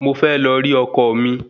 Mo fẹ́ lọ rí ọkọ mi